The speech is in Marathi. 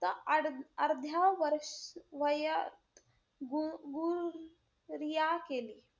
अर्ध्या वर~ वयात गु~ गु गुऱया केली.